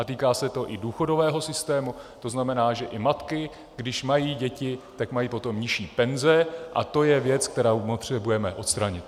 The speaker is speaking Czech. A týká se to i důchodového systému, to znamená, že i matky, když mají děti, tak mají potom nižší penze, a to je věc, kterou potřebujeme odstranit.